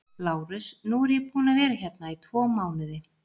LÁRUS: Nú er ég búinn að vera hérna í tvo mánuði.